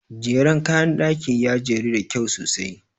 Jeren kayan ɗakin ya jeru da kyau sosai.